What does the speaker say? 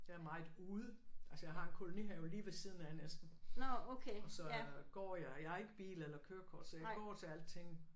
Jeg er meget ude. Altså jeg har en kolonihave lige ved siden af næsten og så går jeg. Jeg har ikke bil eller kørekort så jeg går til alting